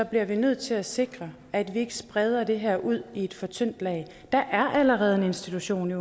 bliver vi nødt til at sikre at vi ikke spreder det her ud i et for tyndt lag der er allerede en institution